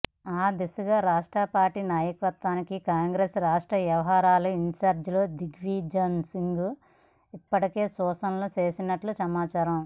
ఆ దిశగా రాష్ట్ర పార్టీ నాయకత్వానికి కాంగ్రెస్ రాష్ట్ర వ్యవహారాల ఇన్ఛార్జ్ దిగ్విజయ్సింగ్ ఇప్పటికే సూచనలు చేసినట్లు సమాచారం